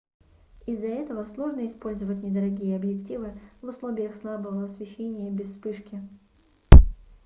из-за этого сложно использовать недорогие объективы в условиях слабого освещения без вспышки